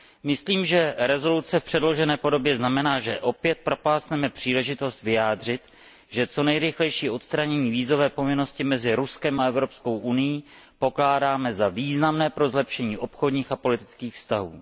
Myslím, že rezoluce v předložené podobě znamená, že opět propásneme příležitost vyjádřit, že co nejrychlejší odstranění vízové povinnosti mezi Ruskem a Evropskou unií pokládáme za významné pro zlepšení obchodních a politických vztahů.